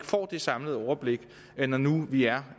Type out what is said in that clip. få det samlede overblik når nu vi er